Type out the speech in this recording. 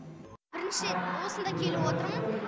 бірінші рет осында келіп отырмын